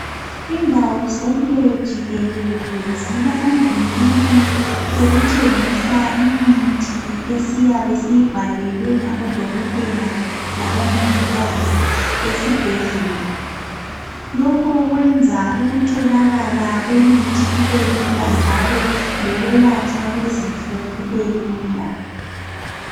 Indawo zonke jikelele zilamavinkili okuthengisa imithi esiyabe siyibhalelwe ngabodokotela labomongikazi esibhendlela lokho kwenza ukutholakala kwemithi kubelula njalo lokwelatshwa kwezifo kubelula.